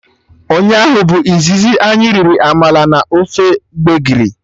Ụnyaahụ bụ izizi anyị riri amala na ofe gbegiri